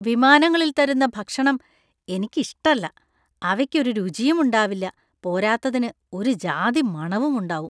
വിമാനങ്ങളിൽ തരുന്ന ഭക്ഷണം എനിക്ക് ഇഷ്ടല്ല . അവയ്ക്ക് ഒരു രുചിയും ഉണ്ടാവില്ല. പോരാത്തതിന് ഒരു ജാതി മണവും ഉണ്ടാവും.